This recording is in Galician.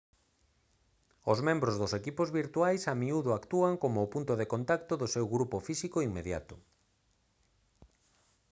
os membros dos equipos virtuais a miúdo actúan como o punto de contacto do seu grupo físico inmediato